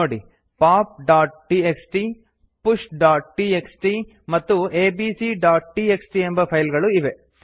ನೋಡಿ popಟಿಎಕ್ಸ್ಟಿ pushಟಿಎಕ್ಸ್ಟಿ ಮತ್ತು abcಟಿಎಕ್ಸ್ಟಿ ಎಂಬ ಫೈಲ್ ಗಳು ಇವೆ